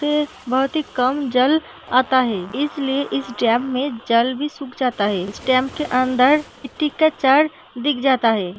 ही कम जल आता है। इसलिए इस डैम में जल भी सुख जाता है। इस डैम के अंदर मिट्टी का दिख जाता है।